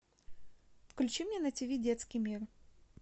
включи мне на тв детский мир